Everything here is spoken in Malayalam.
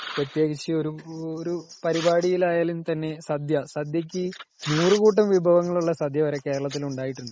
പ്രത്യേകിച്ച് ഒരു പരിപാടിയിൽ ആയാലും തന്നെ സദ്യ .സദ്യക്കു നൂറു കൂട്ടം വിഭവങ്ങൾ ഉള്ള സദ്യ വരെ കേരളത്തിൽ ഉണ്ടായിട്ടുണ്ട് .